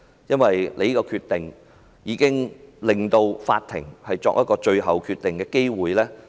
因為她這個決定令法庭失去作最後判決的機會。